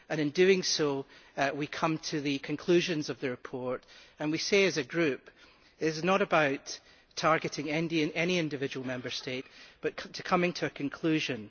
In doing so we come to the conclusions of the report and we say as a group, it is not about targeting any individual Member State but coming to a conclusion.